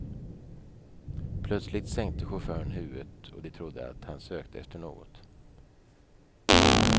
Plötsligt sänkte chauffören huvudet och de trodde att han sökte efter något.